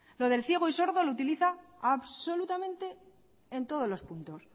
lo del ciego y sordo lo utiliza absolutamente en todos los puntos